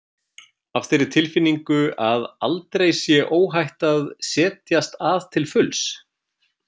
Af þeirri tilfinningu að aldrei sé óhætt að setjast að til fulls?